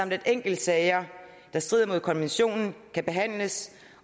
at enkeltsager der strider mod konventionen kan behandles